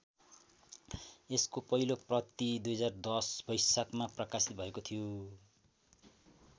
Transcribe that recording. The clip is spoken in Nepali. यसको पहिलो प्रति २०१० वैशाखमा प्रकाशित भएको थियो।